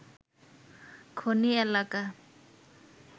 খনি এলাকা